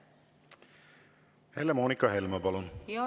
Helle-Moonika Helme, palun!